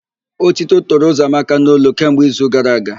Ótító toro Ụzọamaka n'olu kemgbe izu gara aga.